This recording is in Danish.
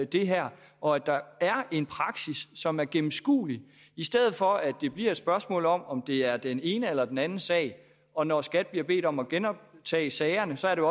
det her og at der er en praksis som er gennemskuelig i stedet for at det bliver et spørgsmål om om det er den ene eller den anden sag og når skat bliver bedt om at genoptage sagerne så er det